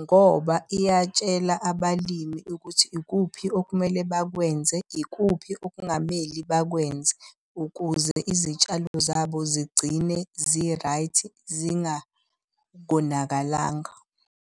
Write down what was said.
Ngoba iyatshela abalimi ukuthi ikuphi okumele bakwenze, ikuphi okungamele bakwenze ukuze izitshalo zabo zigcine zi-right zingakonakalanga.